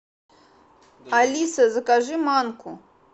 алиса закажи манку